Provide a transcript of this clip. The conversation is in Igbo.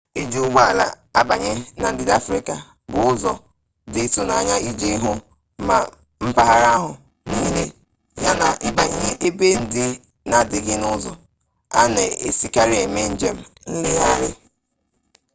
iji ụgbọ ala abanye na ndịda afrịka bụ ụzọ dị ịtụnanya iji hụ mma mpaghara ahụ niile yana ịbanye ebe ndị na-adịghị n'ụzọ a na-esikarị eme njem nlegharị